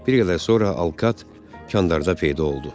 Bir qədər sonra Alkat kandarda peyda oldu.